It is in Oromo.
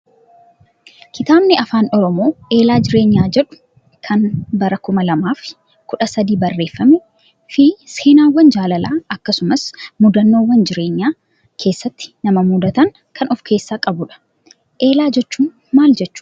KItaabni afaan oromoo eelaa jireenyaa jedhu kan bara kuma lamaa fi kudha sadii barreeffamee fi seenaawwan jaalalaa akkasumas mudannoowwan jireenya keessatti nama mudatan kan of keessaa qabudha. Eelaa jechuun maal jechuudhaa?